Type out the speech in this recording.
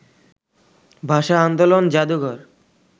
ভাষা-আন্দোলন জাদুঘর